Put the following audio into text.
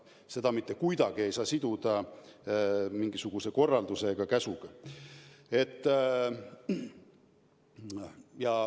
Seda mitte kuidagi ei saa tõlgendada mingisuguse korralduse või käsuna.